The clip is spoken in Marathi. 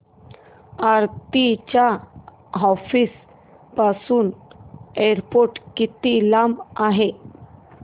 आरती च्या ऑफिस पासून एअरपोर्ट किती लांब आहे